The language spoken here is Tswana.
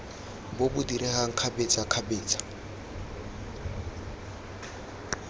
bo bo diregang kgabetsa kgabetsa